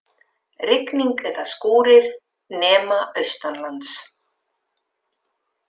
Rigning eða skúrir nema austanlands